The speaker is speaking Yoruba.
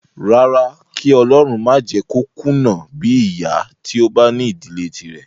Rárá, kí ọlọrun má jẹ kó kùnà bíi ìyá tí ó bá ní ìdílé tírẹ̀.